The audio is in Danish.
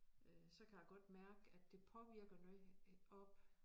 Øh så kan jeg godt mærke at det påvirker noget oppe